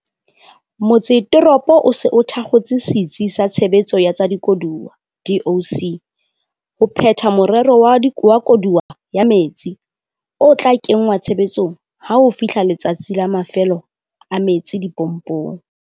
Motsetoropo o se o thakgotse Setsi sa Tshebetso ya tsa Dikoduwa, DOC, ho phetha Morero wa Koduwa ya Metsi, o tla kenngwa tshebetsong ha ho fihla Letsatsi la Mafelo a metsi dipompong.